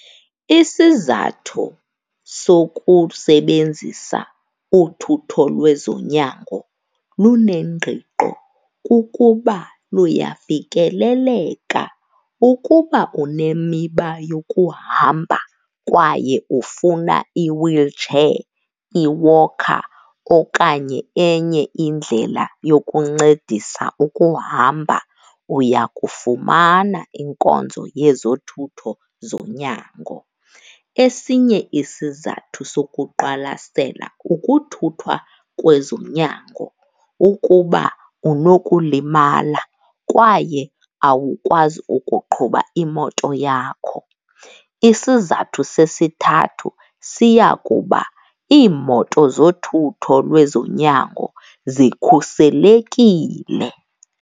Isizathu sokusebenzisa uthutho lwezonyango lunengqiqo kukuba luyafikeleleka. Ukuba unemiba yokuhamba kwaye ufuna i-wheelchair, i-walker okanye enye indlela yokuncedisa ukuhamba, uya kufumana inkonzo yezothutho zonyango. Esinye isizathu sokuqwalasela ukuthuthwa kwezonyango ukuba unokulimala kwaye awukwazi ukuqhuba imoto yakho. Isizathu sesithathu siya kuba iimoto zothutho lwezonyango zikhuselekile.